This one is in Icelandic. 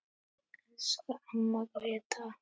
Elsku amma Gréta.